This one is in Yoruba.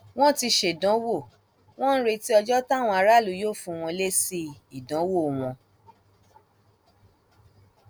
wọn ti ṣèdánwò wọn ń retí ọjọ táwọn aráàlú yóò fún wọn lésì ìdánwò wọn